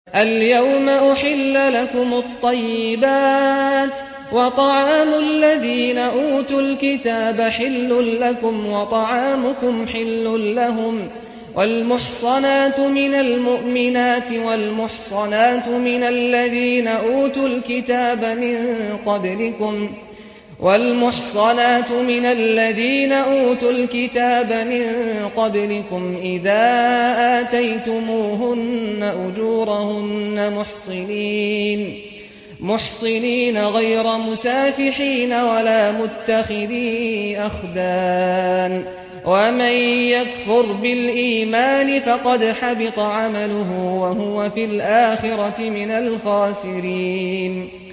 الْيَوْمَ أُحِلَّ لَكُمُ الطَّيِّبَاتُ ۖ وَطَعَامُ الَّذِينَ أُوتُوا الْكِتَابَ حِلٌّ لَّكُمْ وَطَعَامُكُمْ حِلٌّ لَّهُمْ ۖ وَالْمُحْصَنَاتُ مِنَ الْمُؤْمِنَاتِ وَالْمُحْصَنَاتُ مِنَ الَّذِينَ أُوتُوا الْكِتَابَ مِن قَبْلِكُمْ إِذَا آتَيْتُمُوهُنَّ أُجُورَهُنَّ مُحْصِنِينَ غَيْرَ مُسَافِحِينَ وَلَا مُتَّخِذِي أَخْدَانٍ ۗ وَمَن يَكْفُرْ بِالْإِيمَانِ فَقَدْ حَبِطَ عَمَلُهُ وَهُوَ فِي الْآخِرَةِ مِنَ الْخَاسِرِينَ